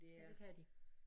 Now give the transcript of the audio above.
Ja det kan de